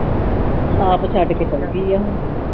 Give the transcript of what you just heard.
ਆਪ ਛੱਡ ਕੇ ਚੱਲਗੀ ਆ ਹੁਣ।